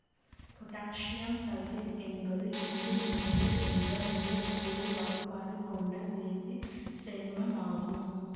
potassium sulphite என்பது இரண்டு மூன்று என்ற மூலக்கூறு வாய்பாடு கொண்ட வேதி சேர்மமாகும்